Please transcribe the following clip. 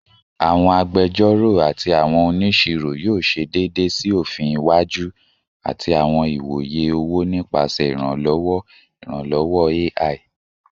Awọn agbẹjọro ati awọn oniṣiro yoo ṣe deede si ofin iwaju ati awọn iwoye owo nipasẹ iranlọwọ iranlọwọ AI